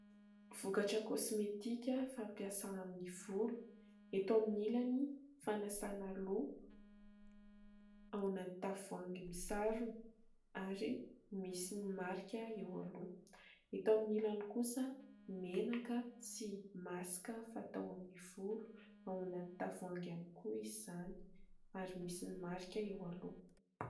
Vokatra kosmetika fampiasa amin'ny volo. Eto amin'ny ilany fanasana loha ao anaty tavoahangy misarona ary misy ny marika eo aloha, eto amin'ny ilany kosa menaka sy masika fatao amin'ny volo ao anaty tavoahangy iany koa izy izany ary misy ny marika eo aloha.